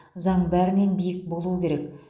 заң бәрінен биік болуы керек